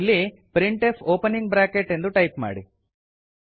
ಇಲ್ಲಿ printf opening bracket ಎಂದು type ಮಾಡಿ